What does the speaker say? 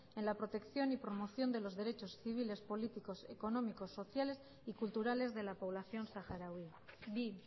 en la protección y promoción de los derechos civiles políticos económicos sociales y culturales de la población saharaui bi